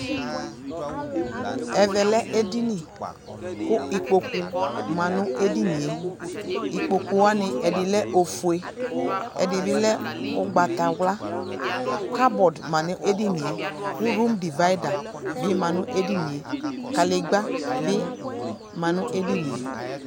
Ɛvɛ lɛ edini kʋ ikpokʋ ma nʋ edini e Ikpokʋ wani, ɛdi lɛ ofue, ɛdi bi lɛ ʋgbatawla Kabɔdʋ ma nʋ edini e, kʋ rʋmdivaida bi ma nʋ edini e Kadigba bi ma nʋ edini e